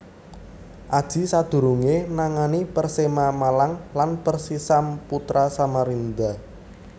Aji sadurungéé nangani Persema Malang lan Persisam Putra Samarinda